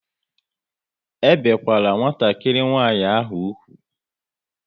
E bikwala nwatakịrị nwanyị ahụ úgwù!